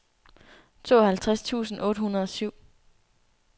tooghalvtreds tusind otte hundrede og syv